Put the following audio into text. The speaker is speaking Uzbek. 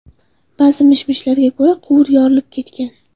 Ba’zi mish-mishlarga ko‘ra, quvur yorilib ketgan.